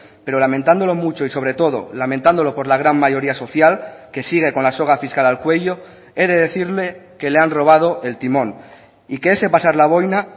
pero lamentándolo mucho y sobre todo lamentándolo por la gran mayoría social que sigue con la soga fiscal al cuello he de decirle que le han robado el timón y que ese pasar la boina